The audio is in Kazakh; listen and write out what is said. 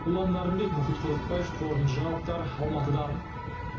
ұлан нарынбек мұхит құдықбаев қорытынды жаңалықтар алматыдан